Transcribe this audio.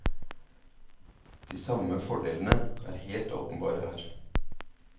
De samme fordelene er helt åpenbare her.